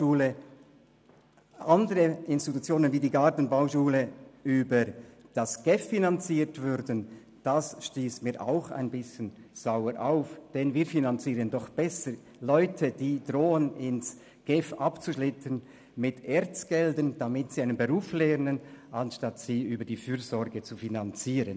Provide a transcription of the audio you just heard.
Drittens: Lieber finanzieren wir die Ausbildung von Leuten, die in den Bereich der GEF abzudriften drohen mit ERZ-Mitteln, anstatt sie über die Fürsorge zu finanzieren.